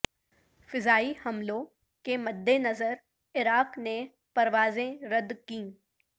فضائی حملوں کے مدنظر عراق نے پروازیں رد کیں